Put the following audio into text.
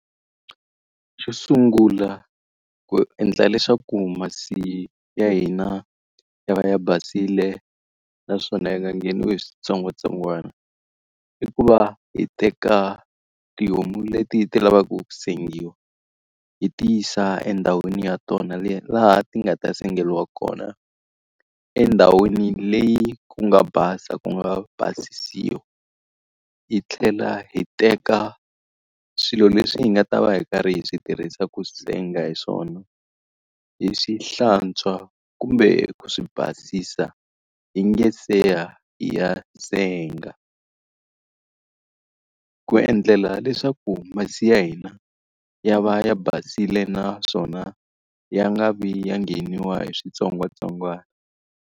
Xo sungula ku endla leswaku masi ya hina ya va ya basile naswona yi nga ngheniwi hi switsongwatsongwana, i ku va hi teka tihomu leti ti lavaka ku sengiwa hi ti yisa endhawini ya tona laha ti nga ta sengeriwa kona, endhawini leyi ku nga basa ku nga basisiwa. Hi tlhela hi teka swilo leswi hi nga ta va hi karhi hi swi tirhisa ku senga hi swona, hi swi hlantswa kumbe ku swi basisa hi nga se ya hi ya senga. Ku endlela leswaku masi ya hina, ya va ya basile naswona ya nga vi ya ngheniwa hi switsongwatsongwana.